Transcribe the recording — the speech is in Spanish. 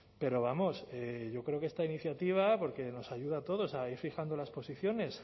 pero vamos yo creo que esta iniciativa porque nos ayuda a todos a ir fijando las posiciones